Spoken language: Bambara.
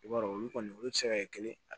I b'a dɔn olu kɔni olu ti se ka kɛ kelen